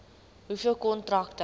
hoeveel kontrakte